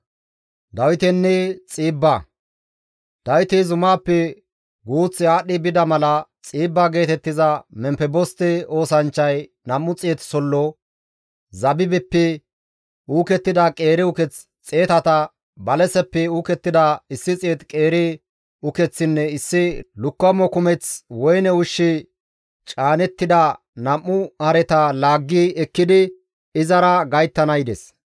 Dawiti zumaappe guuth aadhdhi bida mala Xiibba geetettiza Memfeboste oosanchchay 200 sollo, zabibeppe uukettida qeeri uketh xeetata, balaseppe uukettida 100 qeeri ukeththinne issi lukkamo kumeth woyne ushshi caanettida nam7u hareta laaggi ekkidi izara gayttana yides.